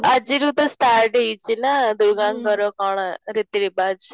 ଆଗିରୁ ତ start ହେଇଚି ନା ଦୁର୍ଗାଙ୍କର କ'ଣ ରୀତି ରିଵାଚ